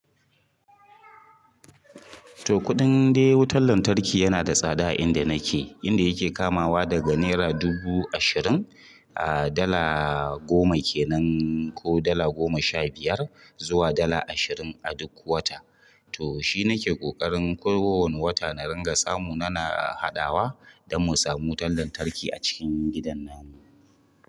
To kuɗin dai wutar lantarki yana da tsada a inda nake, inda yake kamawa daga naira dubu ashirin, a dala goma kenan ko dala goma sha biyar zuwa dala ashirin a duk wata. To shi nake ƙoƙarin kowane wata na ringa samu, na na haɗawa don mu samu wutar lantarki a cikin gidan nan.